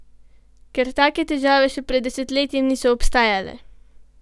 Ker take težave še pred desetletjem niso obstajale!